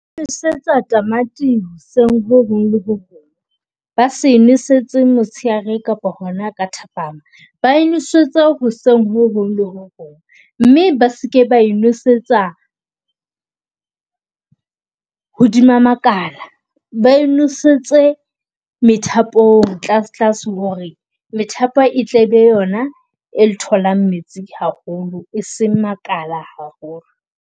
Nosetsa tamati hoseng ho hong le ho hong. Ba se nosetso motsheare kapa hona ka thapama ba e nosetse hoseng ho hong le ho hong. Mme ba seke ba e nosetsa hodima makala, ba e nosetse methapong tlase tlase hore methapo e tle be yona e tholang metsi haholo, e seng makala haholo.